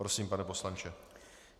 Prosím, pane poslanče.